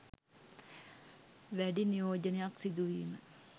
වැඩි නියෝජනයක් සිදුවීම